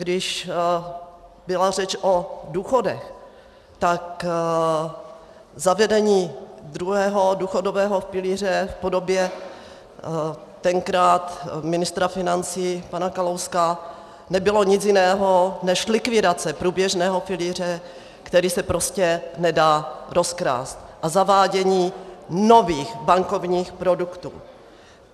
Když byla řeč o důchodech, tak zavedení druhého důchodového pilíře v podobě tenkrát ministra financí pana Kalouska nebylo nic jiného než likvidace průběžného pilíře, který se prostě nedá rozkrást, a zavádění nových bankovních produktů.